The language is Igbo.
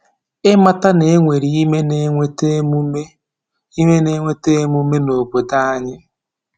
Ịmata na e nwere ime na-eweta emume ime na-eweta emume n’obodo anyị.